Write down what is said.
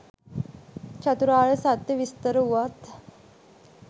චතුරාර්ය සත්‍ය විස්තර වූවත්